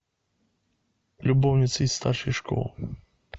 любовница из старшей школы